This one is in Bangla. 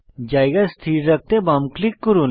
জায়গা স্থির রাখতে বাম ক্লিক করুন